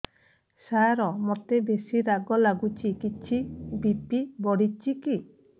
ସାର ମୋତେ ବେସି ରାଗ ଲାଗୁଚି କିଛି ବି.ପି ବଢ଼ିଚି କି